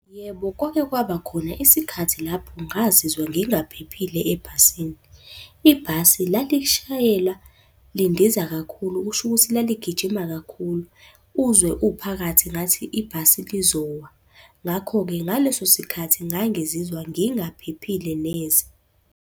Yebo, kwake kwaba khona isikhathi lapho ngazizwa ngingaphephile ebhasini. Ibhasi lalishayela lindiza kakhulu, kusho ukuthi laligijima kakhulu. Uzwe uphakathi ngathi ibhasi lizowa. Ngakho-ke ngaleso sikhathi ngangizizwa ngingaphephile neze.